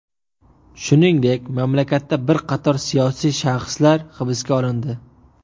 Shuningdek, mamlakatda bir qator siyosiy shaxslar hibsga olindi.